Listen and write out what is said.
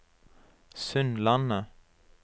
Sundlandet